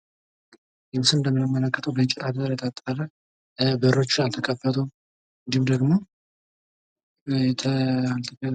ይህ ምስል በእንጨት የታጠር በሮቹ አልተከፈቶም እንዲሁም ደግሞ ተ...